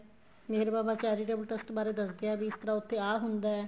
ਮੇਹਰ Baba charitable ਬਾਰੇ ਦੱਸਦੇ ਹੈ ਵੀ ਇਸ ਤਰ੍ਹਾਂ ਉੱਥੇ ਆ ਹੁੰਦਾ ਏ